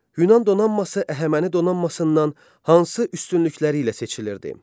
Yunan donanması Əhəməni donanmasından hansı üstünlükləri ilə seçilirdi?